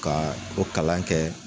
Ka o kalan kɛ.